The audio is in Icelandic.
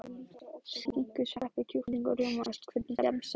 Skinku sveppi kjúkling og rjómaost Hvernig gemsa áttu?